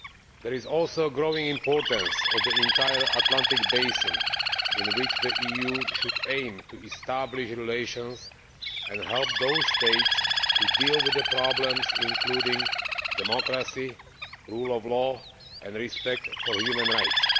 There is also the growing importance of the entire Atlantic basin, in which the EU should aim to establish relations and help those states to deal with the problems, including democracy, rule of law and respect for human rights.